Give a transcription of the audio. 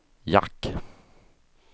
jack